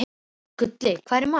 Gulli, hvað er í matinn?